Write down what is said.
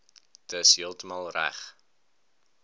dis heeltemal reg